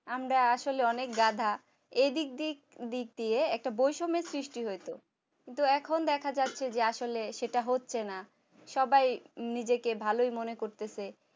আমরা আসলে অনেক গাধা এইদিক দিয়ে একটা বৈষম্যের সৃষ্টি হয়েছে তো এখন দেখা যাচ্ছে যে আসলে সেটা হচ্ছে না সবাই নিজেকে ভালোই মনে করতেছে